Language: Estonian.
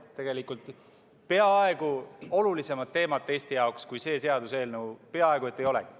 Tegelikult olulisemat teemat Eesti jaoks kui see seaduseelnõu peaaegu et ei olegi.